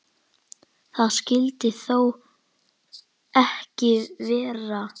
Það skyldi þó ekki vera?